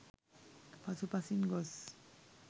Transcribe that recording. පසු පසින් ගොස්